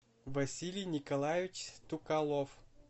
василий николаевич стукалов